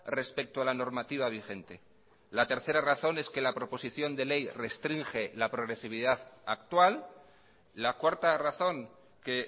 respecto a la normativa vigente la tercera razón es que la proposición de ley restringe la progresividad actual la cuarta razón que